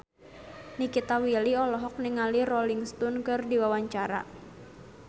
Nikita Willy olohok ningali Rolling Stone keur diwawancara